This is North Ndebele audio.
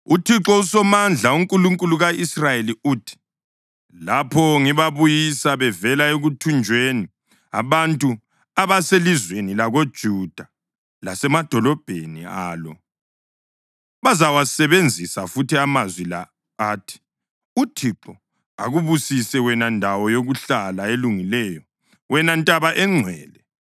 UThixo uSomandla, uNkulunkulu ka-Israyeli uthi, “Lapho ngibabuyisa bevela ekuthunjweni, abantu abaselizweni lakoJuda lasemadolobheni alo bazawasebenzisa futhi amazwi la athi, ‘ UThixo akubusise wena ndawo yokuhlala elungileyo, wena ntaba engcwele.’